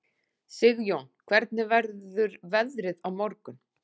Sigjón, hvernig verður veðrið á morgun?